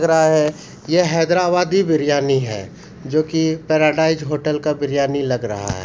ये हैदराबादी बिरयानी है जो की पैराडाइज होटल का बिरयानी लग रहा है।